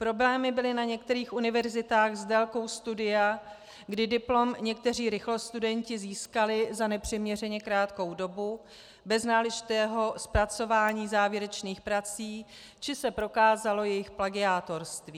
Problémy byly na některých univerzitách s délkou studia, kdy diplom někteří rychlostudenti získali za nepřiměřeně krátkou dobu bez náležitého zpracování závěrečných prací, či se prokázalo jejich plagiátorství.